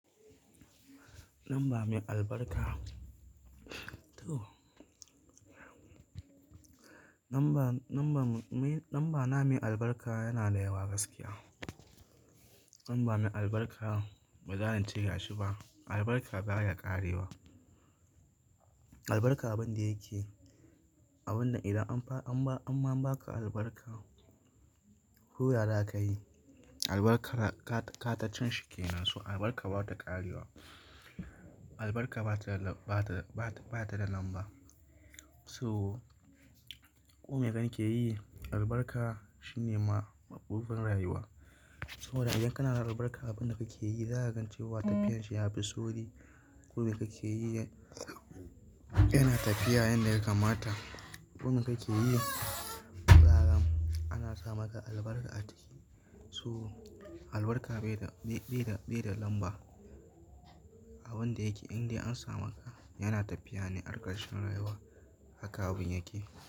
Lamba mai albarka. To. Lamba, lamba, lamba na mai albarka yana da yawa gaskiya. Lamba mai albarka baza ince ga shi ba, albarka baya ƙarewa. Albarka abun da yake, abun da idan an fa, an ba, an ma ba ka albarka, ko ya za ka yi. Albarkara ka, ka, katacin shi ke nan, so albarka bata ƙarewa. Albarka bata lab, bata, bata, bata da lamba. So, kome kake yi albarka shine ma mabudin rayuwa. So idan kana da albarka a abun da kake yi, za ka gan cewa tafiyar shi yafi sauri. Komai kake yi yana tafiya yanda ya kamata. Kowane kake yi, yara ana sa maka albarka a ciki. So albarka bai da, bai, bai da, bai da lamba a abun da yake. Inde an sa maka yana tafiya ne a ƙarshen rayuwa haka abun yake.